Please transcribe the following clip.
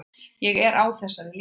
Ég er á þessari línu.